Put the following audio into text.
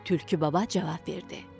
Tülkü baba cavab verdi.